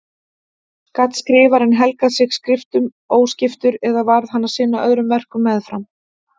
Gat skrifarinn helgað sig skriftum óskiptur eða varð hann að sinna öðrum verkum meðfram?